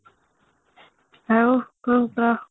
ଆଉ କ'ଣ କହ